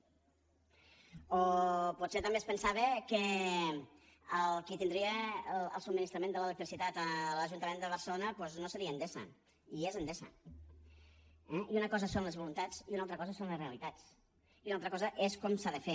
o potser també es pensava que qui tindria el subministrament de l’electricitat a l’ajuntament de barcelona doncs no seria endesa i és endesa eh i una cosa són les voluntats i una altra cosa són les realitats i una altra cosa és com s’ha de fer